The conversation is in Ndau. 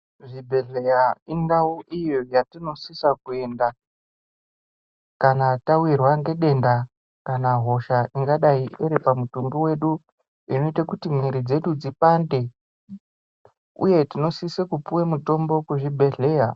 Zvibhedhleya indau iyo yatinosisa kuyenda, kana tawirwa ngedenda kana hosha ingadayi iri pamutumbi wedu, inoyite kuti mwiri dzedu dzipande uye tinosise kupuwe mitombo kuzvibhedhleya.